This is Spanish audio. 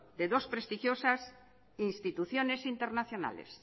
de dos prestigiosas instituciones internacionales